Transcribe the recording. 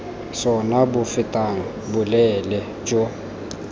sona bo fetang boleele jo